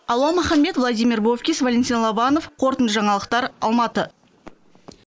алуа маханбет владимир бовкис валентин лобанов қорытынды жаңалықтар алматы